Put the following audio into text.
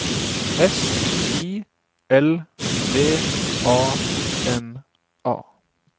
S I L V A N A